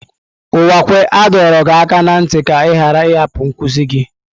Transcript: Uwakwe a dọrọ gị aka na ntị ka ị ghara ịhapụ nkuzi gị!